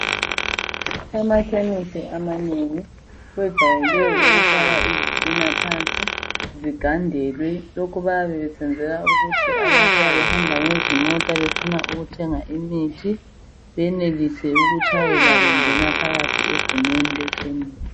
Emakhemisi amanengi bajayele ukufaka izitina phansi begandele lokho kuyenzelwa ukuba ababuya behamba ngezimota befuna ukuthenga umuthi benelise ikutshayela bengena phakathi egumeni lekemisi.